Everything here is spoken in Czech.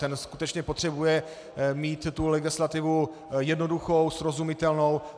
Ten skutečně potřebuje mít tu legislativu jednoduchou, srozumitelnou.